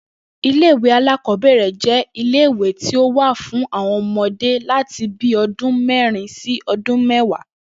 Ilé ìwé alákò̩ó̩bè̩rè̩ jé̩ ilé ìwé tí ó wà fún àwo̩n o̩mo̩dé láti bíi o̩dún mé̩rin sí o̩dún mé̩wàá